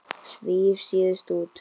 Svíf síðust út.